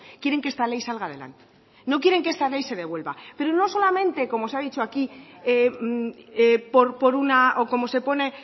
quieren que esta ley salga adelante no quieren que esta ley se devuelva pero no solamente como se ha dicho aquí o como se pone